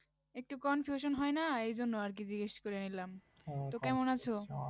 একটু confusion হয় না এইজন্য আর কি জিজ্ঞেস করে নিলাম তো কেমন আছো?